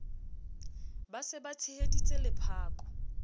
ba se ba tsheheditse lephako